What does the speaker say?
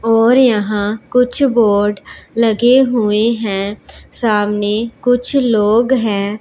और यहां कुछ बोट लगे हुए हैं सामने कुछ लोग हैं।